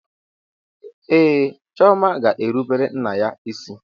Ee, Chioma ga-erubere nna ya isi.